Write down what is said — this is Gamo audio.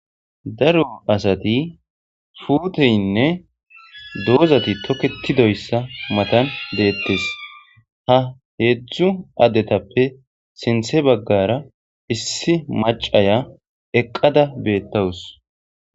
Daro asati fuuteynne doozati toketidoyssa matan deettes ha heedzdzu addetappe sinthe baggara issi macaya eqqada beettawus